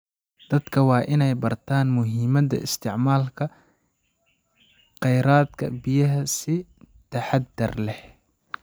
Dadka waa in ay bartaan muhiimada isticmaalka khayraadka biyaha si taxadar leh.